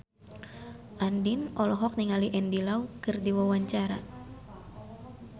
Andien olohok ningali Andy Lau keur diwawancara